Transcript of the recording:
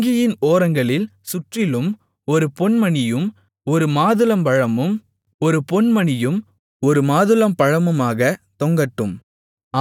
அங்கியின் ஓரங்களில் சுற்றிலும் ஒரு பொன்மணியும் ஒரு மாதுளம்பழமும் ஒரு பொன்மணியும் ஒரு மாதுளம்பழமுமாகத் தொங்கட்டும்